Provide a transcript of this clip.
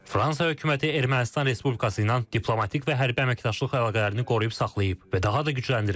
Fransa hökuməti Ermənistan Respublikası ilə diplomatik və hərbi əməkdaşlıq əlaqələrini qoruyub saxlayıb və daha da gücləndirib.